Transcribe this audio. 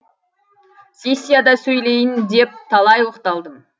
сессияда сөйлейін деп талай оқталдым